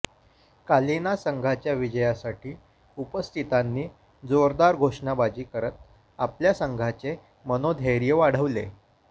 कालिना संघाच्या विजयासाठी उपस्थितांनी जोरदार घोषणाबाजी करत आपल्या संघाचे मनोधैर्य वाढवले